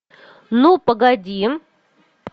ну погоди